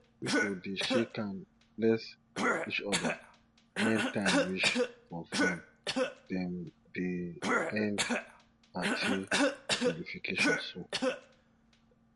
pipo dey shake hand bless each other wen time reach for farm dem dey end party jollification so